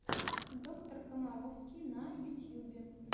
доктор комаровский на ютьюбе